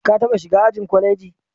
Ka taɓa shiga ajin kwaleji?